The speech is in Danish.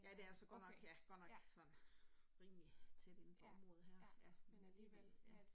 Ja det er så godt nok ja godt nok sådan rimelig tæt inde for området her ja men alligevel